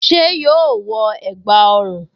Ṣé yóò wọ ẹ̀gbá ọrùn?